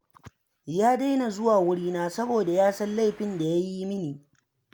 Ya daina zuwa wurina saboda ya san laifin da ya yi mini